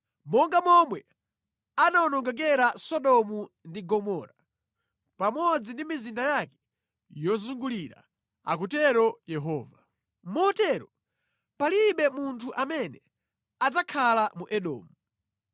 Monga momwe anawonongekera Sodomu ndi Gomora, pamodzi ndi mizinda yake yozungulira,” akutero Yehova, “motero palibe munthu amene adzakhala mu Edomu.